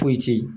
Foyi te ye